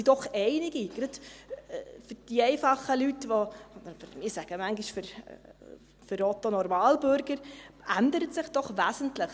Gerade für die einfachen Leute – ich sage manchmal: für Otto Normalbürger – ändert sich doch Wesentliches: